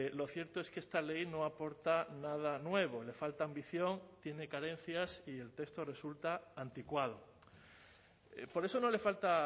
lo cierto es que esta ley no aporta nada nuevo le falta ambición tiene carencias y el texto resulta anticuado por eso no le falta